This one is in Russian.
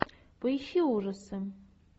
поищи ужасы